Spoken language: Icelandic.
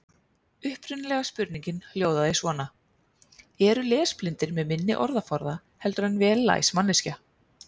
Upprunalega spurningin hljóðaði svona: Eru lesblindir með minni orðaforða heldur en vel læs manneskja?